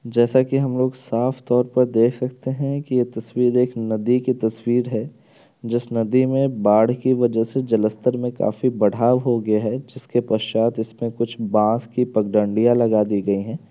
जैसा की हम लोग साफ तौर पर देख सकते हैं की ये तस्वीर एक नदी की तस्वीर है। जिस नदी मे बाढ़ की वजह से जलस्तर मे काफी बढ़ाव हो गया है। जिसके पश्चात इसमे कुछ बांस की पगदंडिया लगा दी गई हैं।